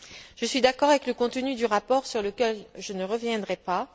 Je suis d'accord avec le contenu du rapport, sur lequel je ne reviendrai pas.